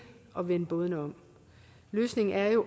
at vende bådene om løsningen er jo